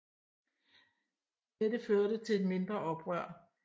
Dette førte til et mindre oprør